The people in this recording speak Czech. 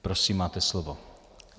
Prosím, máte slovo.